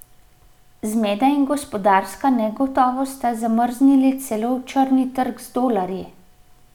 Zmeda in gospodarska negotovost sta zamrznili celo črni trg z dolarji.